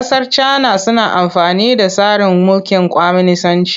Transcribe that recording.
Ƙasar Cana suna amfani da tsarin mulkin kwaminisanci.